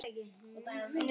Segir hana paradís á jörð.